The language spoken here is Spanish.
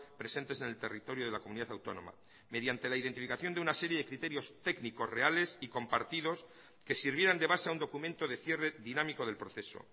presentes en el territorio de la comunidad autónoma mediante la identificación de una serie de criterios técnicos reales y compartidos que sirvieran de base a un documento de cierre dinámico del proceso